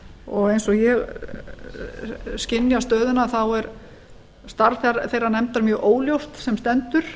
og eins og ég skynja stöðuna þá er starf þeirrar nefndar mjög óljóst sem stendur